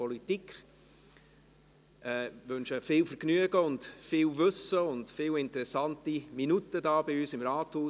Ich wünsche Ihnen viel Vergnügen, viel Wissen und viele interessante Minuten hier bei uns im Rathaus.